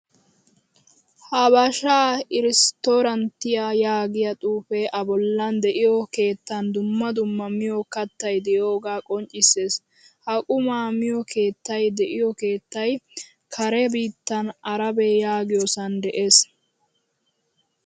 Habasha irestoranttiyaa yaagiyaa xuufe a bollan de'iyo keettan dumma dumma miyo kattay de'iyoga qoncciisees. Ha qumma miyo keettay de'iyo keettay kare biittan Arabe yaagiyosan de'ees.